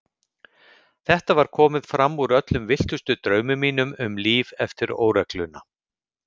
Þetta var komið fram úr öllum villtustu draumum mínum um líf eftir óregluna.